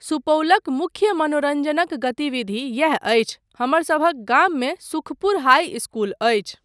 सुपौलक मुख्य मनोरञ्जनक गतिविधि यैह अछि, हमरसभक गाममे सुखपुर हाई इस्कूल अछि।